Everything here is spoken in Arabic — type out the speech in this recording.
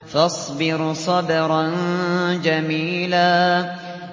فَاصْبِرْ صَبْرًا جَمِيلًا